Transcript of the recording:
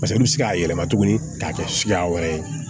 Paseke olu bɛ se k'a yɛlɛma tugunni k'a kɛ suguya wɛrɛ ye